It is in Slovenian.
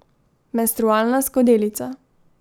Menstrualna skodelica.